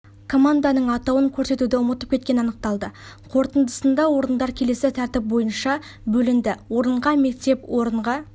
команданың атауын көрсетуді ұмытып кеткені анықталды қорытындысында орындар келесі тәртіп бойынша бөлінді орынға мектеп орынға